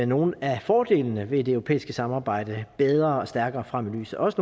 nogle af fordelene ved det europæiske samarbejde bedre og stærkere frem i lyset også